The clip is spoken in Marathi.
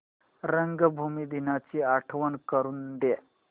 रंगभूमी दिनाची आठवण करून दे